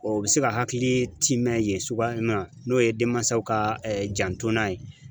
O bɛ se ka hakili tiimɛn yen sugaya min na n'o ye denmansaw ka jantona ye.